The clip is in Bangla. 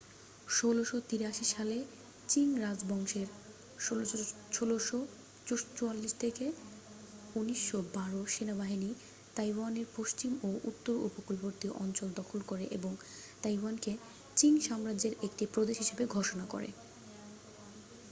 ১৬৮৩ সালে চিং রাজবংশের ১৬৪৪-১৯১২ সেনাবাহিনী তাইওয়ানের পশ্চিম ও উত্তর উপকূলবর্তী অঞ্চল দখল করে এবং তাইওয়ানকে চিং সাম্রাজ্যের একটি প্রদেশ হিসাবে ঘোষণা করে।